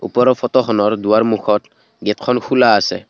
ওপৰৰ ফটোখনৰ দুৱাৰমুখত গেটখন খোলা আছে।